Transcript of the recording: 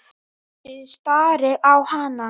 Bjössi starir á hana.